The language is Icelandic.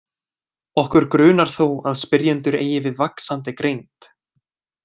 Okkur grunar þó að spyrjendur eigi við vaxandi greind.